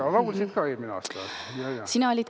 Ja laulsid ka eelmine aasta, jajah.